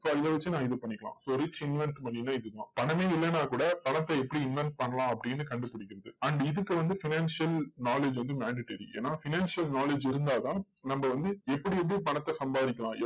so இதை வச்சு நான் இது பண்ணிக்கலாம். so rich invent money ன்னா இதுதான். பணமே இல்லைன்னா கூட, பணத்தை எப்படி invent பண்ணலாம் அப்படின்னு கண்டுபிடிக்கிறது. and இதுக்கு வந்து financial knowledge வந்து mandatory ஏன்னா financial knowledge இருந்தால் தான் நம்ம வந்து எப்படி எப்படி பணத்தை சம்பாதிக்கலாம்,